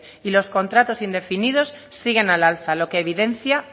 y los contratos indefinidos siguen al alza lo que evidencia